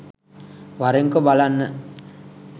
වරෙන්කො බලන්න